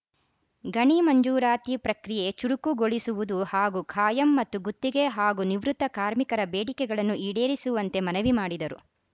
ಗಣಿ ಮಂಜೂರಾತಿ ಪ್ರಕ್ರಿಯೆ ಚುರುಕುಗೊಳಿಸುವುದು ಹಾಗೂ ಕಾಯಂ ಮತ್ತು ಗುತ್ತಿಗೆ ಹಾಗೂ ನಿವೃತ್ತ ಕಾರ್ಮಿಕರ ಬೇಡಿಕೆಗಳನ್ನು ಈಡೇರಿಸುವಂತೆ ಮನವಿ ಮಾಡಿದರು